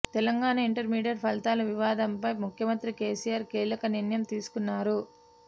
Telangana intermediate ఫలితాల వివాదంపై ముఖ్యమంత్రి కేసీఆర్ కీలక నిర్ణయం తీసుకున్నారు